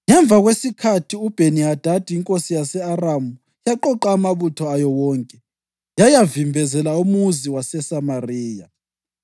Ngemva kwesikhathi, uBheni-Hadadi inkosi yase-Aramu yaqoqa amabutho ayo wonke yayavimbezela umuzi waseSamariya.